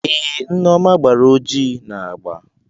Ee, Neoma gbara ojii na agba.